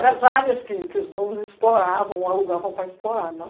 Era as áreas que os donos exploravam, alugavam para explorar, não?